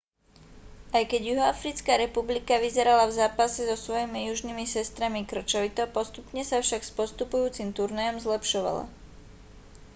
aj keď juhoafrická republika vyzerala v zápase so svojimi južnými sestrami kŕčovito postupne sa však s postupujúcim turnajom zlepšovala